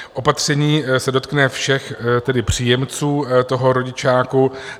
Opatření se dotkne všech příjemců toho rodičáku.